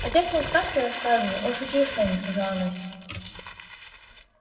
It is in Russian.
отец нам сказки рассказывал он шутил с нами сказала настя